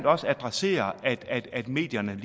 også adresserer at medierne